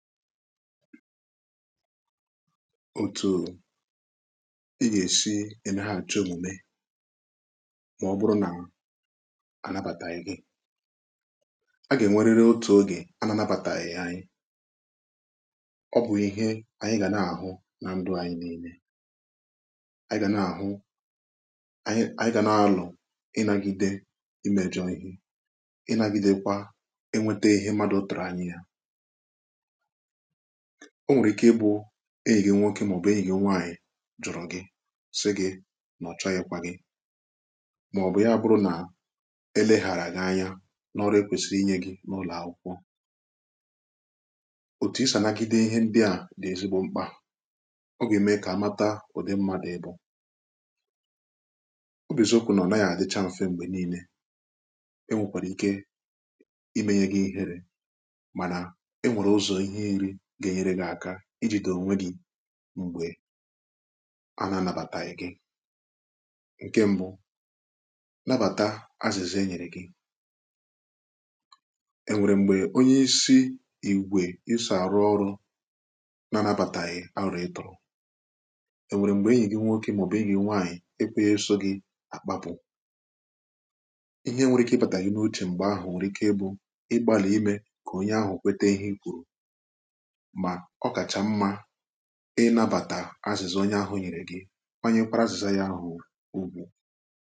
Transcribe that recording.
otu̇ ị ga-èsi ẹ̀nẹhà achọ omume màọbụrụ nà anabataghị gị a gà-ènweriri otu ogè ananabàtàghị̀ anyị ọ bụ̀ ihe anyị gà na-àhụ nà ndụ anyị niile anyị gà na-àhụ anyị gà n’alụ̀ ịnagide imejọ̇ ihe ịnagidekwa enwete ihe mmadụ̀ tụ̀rụ̀ anyị ya o nwere ike ịbụ enyi gị nwoke maọbụ enyi gị nwaanyị jụrụ gị sị gị na ọ chọghịkwa gị maọbụ ya bụrụ na eleghara gị anya n’ọrụ ekwesiri inye gị n’ụlọ akwụkwọ otu isanagide ihe ndị a dị ezigbo mkpa ọ gà-ème kà amata ụdị mmadụ ebȯ ọ bụ n’eziokwu na ọ naghị adịchaa mfe mgbe niile enwekwàrà ike imenye gị ihere gà-enyere gị̀ aka iji dị̀ onwe gị̀ m̀gbè a nà-anabataghị̀ gị ǹkẹ̀ m̀bụ nabata azịza enyere gị enwere m̀gbè onye isi ìgwè i saa rụọ ọrụ̇ nà-anabataghị arụ̀ ị tụrụ̀ enwere m̀gbè enyi gị nwoke maọbụ enyi nwaanyị̀ ẹkwẹẹsọ gị̀ àkpapụ̀ ihe nwere ike ị bataghị n’otchi m̀gbè ahụ̀ nwèrè ike ị bụ ịgbàlà imė kà onye ahụ̀ kweta ihe i kwùrù ihe nabàtà azịzà onye ahụ̀ nyeere gị ọ nyeekwara azịzà yà ahụ̀ ugwu̇